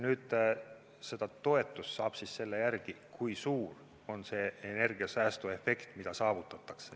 Seda toetust saab selle järgi, kui suur on see energiasäästuefekt, mis saavutatakse.